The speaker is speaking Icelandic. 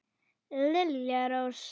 Lilja Rós.